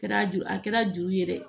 Kɛra juru a kɛra juru ye dɛ